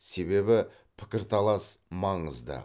себебі пікірталас маңызды